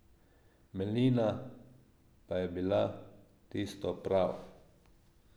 Melina pa je bila tisto pravo.